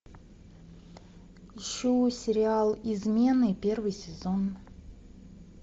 ищу сериал измены первый сезон